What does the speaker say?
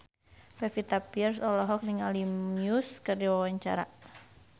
Pevita Pearce olohok ningali Muse keur diwawancara